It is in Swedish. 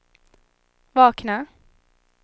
vakna